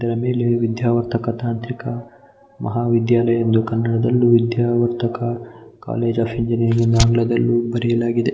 ವಿದ್ಯಾವರ್ಧಕ ತಾಂತ್ರಿಕ ಮಹಾವಿದ್ಯಾಲಯ ಎಂದು ಕನ್ನಡದಲ್ಲಿ ಹಾಗು ವಿದ್ಯಾವರ್ಧಕ ಕಾಲೇಜ್ ಆಫ್ ಇಂಜಿನಿಯರಿಂಗ್ ಎಂದು ಕನ್ನಡದಲ್ಲಿ ಬರೆದಿದೆ.